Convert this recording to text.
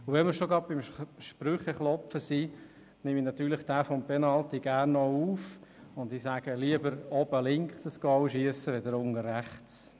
Wenn wir schon beim Sprüche-Klopfen sind, nehme ich den mit dem Penalty natürlich gerne auf und sage: Lieber oben links ein Goal schiessen als unten rechts.